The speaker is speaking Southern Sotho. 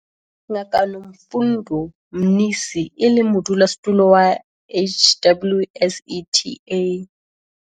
Ngaka Nomfundo Mnisi, e leng Modulasetulo wa HWSETA.